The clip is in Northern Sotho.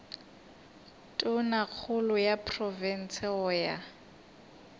tonakgolo ya profense go ya